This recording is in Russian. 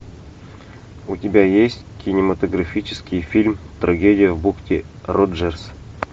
у тебя есть кинематографический фильм трагедия в бухте роджерс